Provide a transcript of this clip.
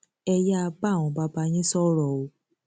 ẹ yáa bá àwọn bàbá yín sọrọ o